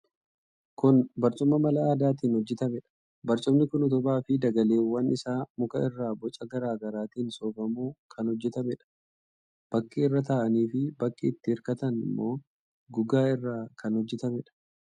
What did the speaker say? Kun barcuma mala aadaatiin hojjetameedha. Barcumni kun utubaa fi dagaleewwan isaa muka irraa boca garaa garaatiin soofamuun kan hojjetameedha. Bakki irra taa'anii fi bakki itti hirkatan immoo gogaa irraa kan hojjetameedha.